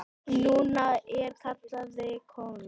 Núna er kallið komið.